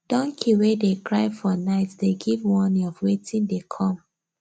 donkey wey dey cry for night dey give warning of wetin dey come